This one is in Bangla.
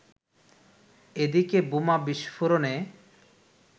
এদিকে বোমা বিস্ফোরণে